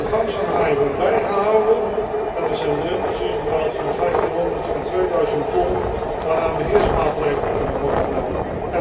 De vangst van haaien wordt bijgehouden en er zijn drempels ingebouwd van 1500 en 2000 ton, waarna beheersmaatregelen kunnen worden genomen.